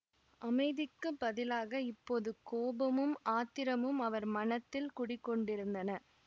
அமைதிக்குப் பதிலாக இப்போது கோபமும் ஆத்திரமும் அவர் மனத்தில் குடிகொண்டிருந்தன